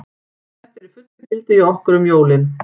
Þetta er í fullu gildi hjá okkur um jólin.